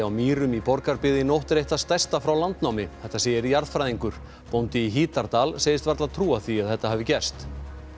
á Mýrum í Borgarbyggð í nótt er eitt það stærsta frá landnámi þetta segir jarðfræðingur bóndi í Hítardal segist varla trúa því að þetta hafi gerst